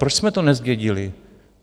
Proč jsme to nezdědili?